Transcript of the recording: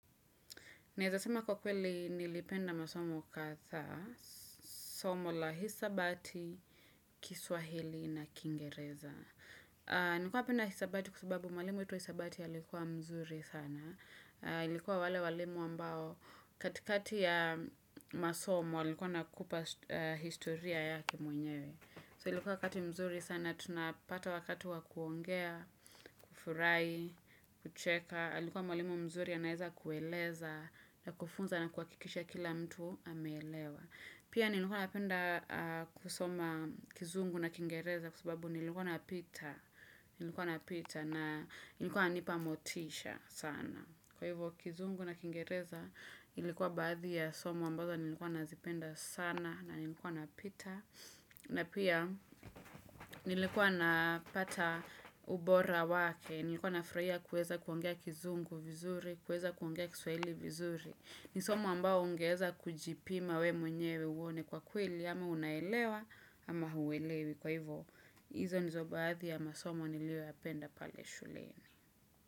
Naezasema kwa kweli nilipenda masomu kadhaa, somo la hisabati, kiswahili na kingereza. Nikuwa napenda hisabati kwa sababu mwalimu wetu wa hisabati alikuwa mzuri sana. Alikuwa wale walimu ambao katikati ya masomo alikuwa anakupa historia yake mwenyewe. So ilikuwa wakati mzuri sana, tunapata wakati wa kuongea, kufurahi, kucheka. Alikuwa mwalimu mzuri anaeza kueleza na kufunza na kuhakikisha kila mtu ameelewa. Pia nilikuwa napenda kusoma kizungu na kingereza Kwa sababu nilikuwa napita Nilikuwa napita na nilikuwa anipa motisha sana Kwa hivyo kizungu na kingereza Nilikuwa baadhi ya somo ambazo nilikuwa nazipenda sana na nilikuwa napita na pia nilikuwa napata ubora wake Nilikuwa nafurahia kuweza kuongea kizungu vizuri, kuweza kuongea kiswahili vizuri. Ni somo ambalo ungeweza kujipima we mwenyewe uone kwa kweli ama unaelewa ama hauelewi Kwa hivo, hizo nizo baadhi ya masomo niliyoyapenda pale shuleni.